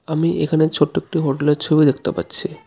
আমি এখানে ছোট্ট একটি হোটেলের ছবি দেখতে পাচ্ছি.